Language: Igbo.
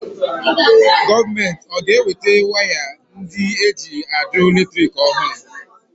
Gọọmenti ọ ga-eweta waya ndị eji àdọ́ elétrị̀k ọhụrụ?